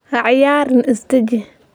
Ha ciyaarin, is deji.